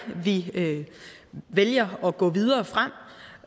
vi vælger at gå videre frem